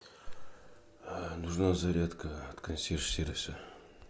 нужна зарядка от консьерж сервиса